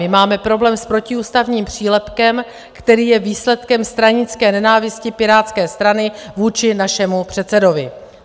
My máme problém s protiústavním přílepkem, který je výsledkem stranické nenávisti Pirátské strany vůči našemu předsedovi.